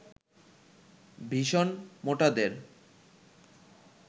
ভীষণ মোটাদের